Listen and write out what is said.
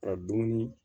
Ka dumuni